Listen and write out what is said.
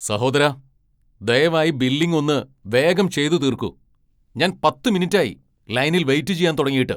സഹോദരാ, ദയവായി ബില്ലിങ് ഒന്ന് വേഗം ചെയ്തു തീർക്കു ഞാൻ പത്ത് മിനിറ്റായി ലൈനിൽ വെയിറ്റ് ചെയ്യാൻ തുടങ്ങിയിട്ട്.